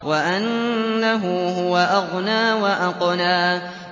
وَأَنَّهُ هُوَ أَغْنَىٰ وَأَقْنَىٰ